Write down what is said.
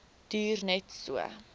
duur net so